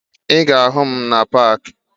Ị ga-ahụ m na paakị